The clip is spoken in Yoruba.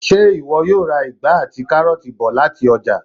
Ṣé ìwọ yóò ra ìgbá àti káróọ̀ti bọ̀ lati ọ́jà?